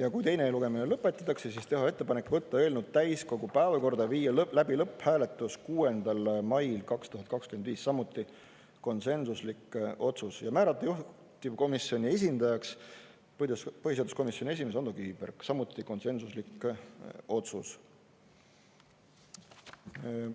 ja kui teine lugemine lõpetatakse, siis teha ettepanek võtta eelnõu täiskogu päevakorda, viia läbi lõpphääletus 6. mail 2025, samuti konsensuslik otsus; ja määrata juhtivkomisjoni esindajaks põhiseaduskomisjoni esimees Ando Kiviberg, samuti konsensuslik otsus.